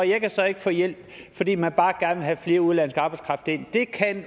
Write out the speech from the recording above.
jeg kan så ikke få hjælp fordi man bare gerne vil have mere udenlandsk arbejdskraft ind